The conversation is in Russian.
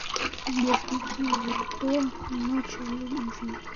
сбер включи врто ночь любви